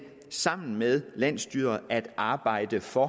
sammen med landsstyret at arbejde for